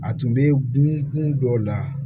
A tun bɛ kun dɔw la